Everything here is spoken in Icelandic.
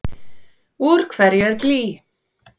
Úr hverju er blý?